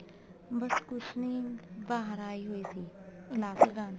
ਬੱਸ ਕੁੱਛ ਨੀ ਬਾਹਰ ਆਈ ਹੋਈ ਸੀ class ਲਗਾਉਣ